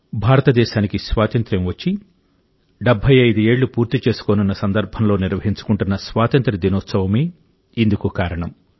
భారతదేశానికి స్వాతంత్య్రం వచ్చి 75 ఏళ్లు పూర్తి చేసుకోనున్నసందర్భంలో నిర్వహించుకుంటోన్న స్వాతంత్ర్య దినోత్సవమే ఇందుకు కారణం